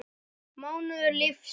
mánuður lífs míns.